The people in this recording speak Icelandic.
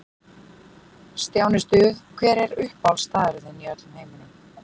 Stjáni Stuð Hver er uppáhaldsstaðurinn þinn í öllum heiminum?